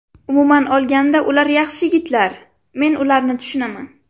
Umuman olganda ular yaxshi yigitlar, men ularni tushunaman.